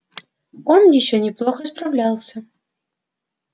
он ещё неплохо справлялся